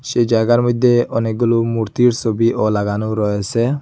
সেই জায়গার মইদ্যে অনেকগুলো মূর্তির ছবিও লাগানো রয়েসে।